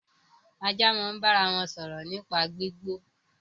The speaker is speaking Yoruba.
Ajá máa ń bára wọn sọ̀rọ̀ nípa gbígbó